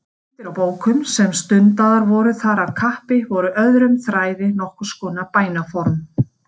Uppskriftir á bókum sem stundaðar voru þar af kappi voru öðrum þræði nokkurs konar bænaform.